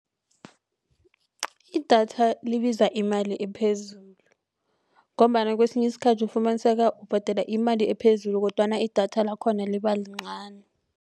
Idatha libiza imali ephezulu ngombana kwesinye isikhathi ufumaniseka ubhadela imali ephezulu kodwana idatha lakhona libalincani.